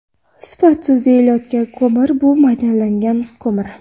Sifatsiz deyilayotgan ko‘mir bu maydalangan ko‘mir.